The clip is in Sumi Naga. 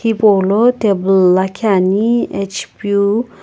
hipo lo table lakhi Ani hp vu.